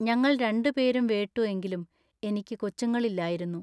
ഞങ്ങൾ രണ്ടുപേരും വേട്ടു എങ്കിലും എനിക്ക് കൊച്ചുങ്ങളില്ലായിരുന്നു.